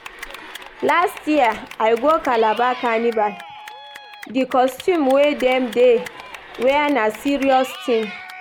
Last year, I go Calabar Carnival, di costume wey dem dey wear na serious tin.